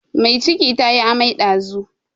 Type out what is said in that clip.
Mai ciki ta yi amai ɗazun.